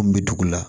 An bɛ dugu la